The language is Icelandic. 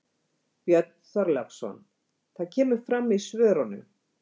Björn Þorláksson: Það kemur fram í svörunum?